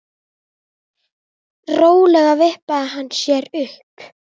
Rólega vippaði hann sér upp.